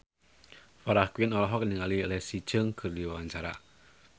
Farah Quinn olohok ningali Leslie Cheung keur diwawancara